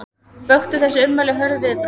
Vöktu þessi ummæli hörð viðbrögð